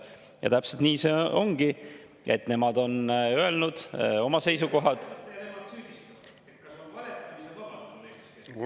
Ja täpselt nii see ongi, et nemad on öelnud oma seisukohad.